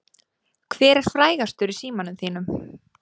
Hver er frægastur í símanum þínum?